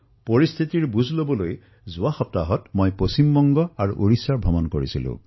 অৱস্থাৰ বুজ লবলৈ মই যোৱা সপ্তাহত ওড়িশা আৰু পশ্চিমবংগলৈ গৈছিলো